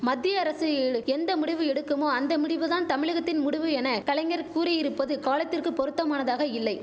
மத்திய அரசு ஈலு எந்த முடிவு எடுக்குமோ அந்த முடிவுதான் தமிழகத்தின் முடுவு என கலைஞர் கூறியிருப்பது காலத்திற்கு பொருத்தமானதாக இல்லை